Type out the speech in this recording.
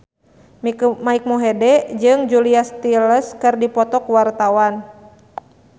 Mike Mohede jeung Julia Stiles keur dipoto ku wartawan